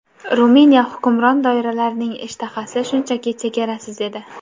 Ruminiya hukmron doiralarining ishtahasi shunchaki chegarasiz edi.